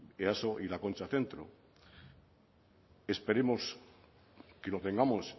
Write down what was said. easo y la concha centro esperemos que lo tengamos